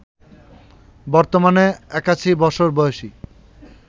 বর্তমানে ৮১ বছর বয়সী